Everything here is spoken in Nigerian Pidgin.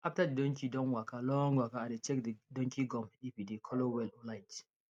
after the donkey don waka long waka i dey check the donkey gum if e dey colour well or light